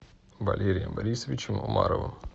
валерием борисовичем умаровым